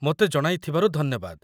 ମୋତେ ଜଣାଇଥିବାରୁ ଧନ୍ୟବାଦ